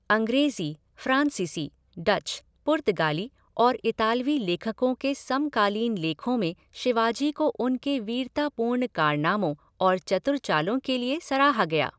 अंग्रेज़ी, फ़्रांसीसी, डच, पुर्तगाली और इतालवी लेखकों के समकालीन लेखों में शिवाजी को उनके वीरतापूर्ण कारनामों और चतुर चालों के लिए सराहा गया।